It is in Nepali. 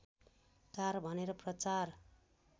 कार भनेर प्रचार